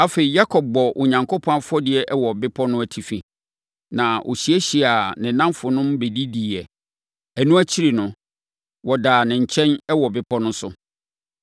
Afei, Yakob bɔɔ Onyankopɔn afɔdeɛ wɔ bepɔ no atifi, na ɔhyiahyiaa ne nnamfonom bɛdidiiɛ. Ɛno akyiri no, wɔdaa ne nkyɛn wɔ bepɔ no so.